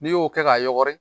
N'i y'o kɛ k'a yɔgɔri